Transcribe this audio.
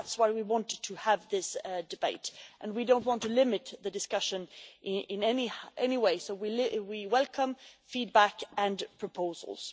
That is why we wanted to have this debate, and we don't want to limit the discussion in any way, so we welcome feedback and proposals.